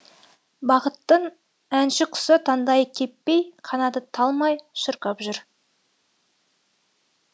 бақыттың әнші құсы таңдайы кеппей қанаты талмай шырқап жүр